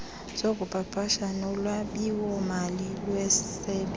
zokupapasha nolwabiwomali lwesebe